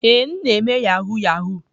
Ee, m na-eme yahoo yahoo.